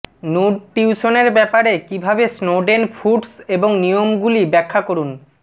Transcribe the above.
নুডটিউশনের ব্যাপারে কীভাবে Snowden foods এবং নিয়মগুলি ব্যাখ্যা করুন